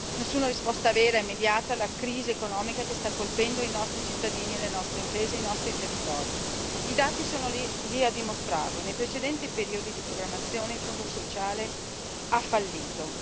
Nessuna risposta vera e immediata alla crisi economica che sta colpendo i nostri cittadini, le nostre imprese e i nostri territori. I dati sono lì a dimostrarlo nei precedenti periodi di programmazione, il Fondo sociale ha fallito.